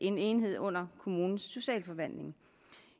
en enhed under kommunens socialforvaltning